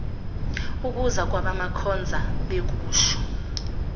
ukuza kukamakhoza bekusho